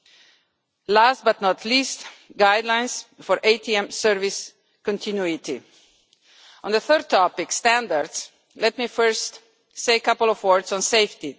and last, but not least, guidelines for ATM service continuity. On the third topic, standards, let me first say a few words on safety.